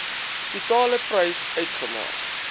totale prys uitmaak